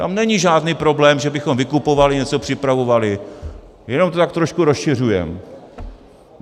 Tam není žádný problém, že bychom vykupovali, něco připravovali, jenom to tak trošku rozšiřujeme.